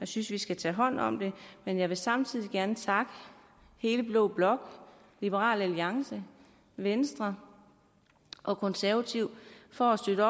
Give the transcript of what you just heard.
synes vi skal tage hånd om det men jeg vil samtidig gerne takke hele blå blok liberal alliance venstre og konservative for at støtte